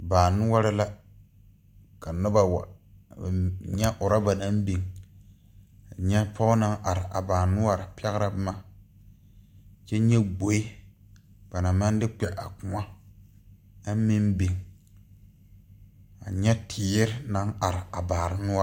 Baa noɔre la ka nobɔ wa nyɛ rɔba naŋ biŋ nyɛ pɔge naŋ are a baa noɔre pɛgrɛ boma kyɛ nyɛ gboe ba naŋ maŋ de kpɛ a kõɔ aŋ meŋ biŋ a nyɛ teere naŋ are a baa noɔre.